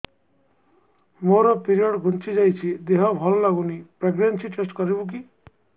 ମୋ ପିରିଅଡ଼ ଘୁଞ୍ଚି ଯାଇଛି ଦେହ ଭଲ ଲାଗୁନି ପ୍ରେଗ୍ନନ୍ସି ଟେଷ୍ଟ କରିବୁ କି